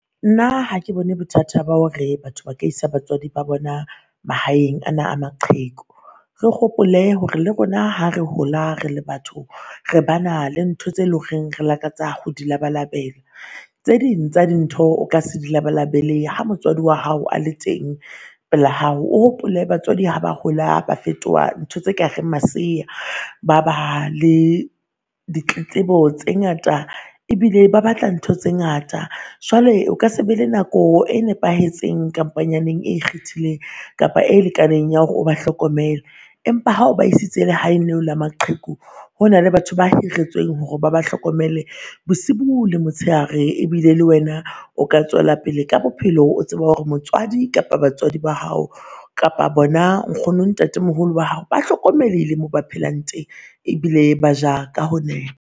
Nna ha ke bone bothata ba hore batho ba ka isa batswadi ba bona mahaeng ana a maqheku. Re hopole hore le rona ha re hola re le batho, re bana le ntho tse lo reng re lakatsa ho di labalabela. Tse ding tsa dintho o ka se di labalabele ha motswadi wa hao a le teng pela hao. O hopole batswadi ha ba hola ba fetoha ntho tse ka reng masea ba ba le di tletlebo tse ngata, ebile ba batla ntho tse ngata. Jwale o ka se be le nako e nepahetseng kampanyaneng e ikgethileng kapa e lekaneng ya hore ba hlokomele. Empa ha o ba isitse lehaeng leo la maqheku hona le batho ba hiretsweng hore ba ba hlokomele bosiu le motshehare. Ebile le wena o ka tswela pele ka bophelo o tseba hore motswadi, kapa batswadi ba hao, kapa bona nkgono ntate moholo wa hao ba hlokomelehile mo ba phelang teng ebile ba ja ka ho